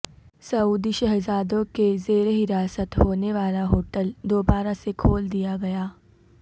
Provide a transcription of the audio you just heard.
سعودی شہزادوں کے زیر حراست ہونے والا ہوٹل دوبارہ سے کھول دیا گیا